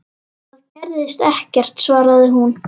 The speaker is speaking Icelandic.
Það gerðist ekkert, svaraði hún.